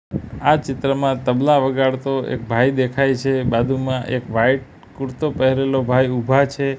આ ચિત્રમાં તબલા વગાડતો એક ભાઈ દેખાય છે બાજુમાં એક વાઈટ કુરતો પહેરેલો ભાઈ ઊભા છે.